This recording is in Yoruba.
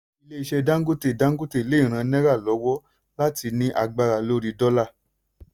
ilé iṣẹ́ dangote dangote lè ràn náírà lọ́wọ́ láti ní agbára lórí dọ́là.